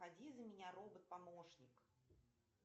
пойди за меня робот помощник